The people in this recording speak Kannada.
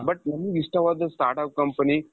but ನಮ್ಗ್ ಇಷ್ಟವಾದುದು start-up company,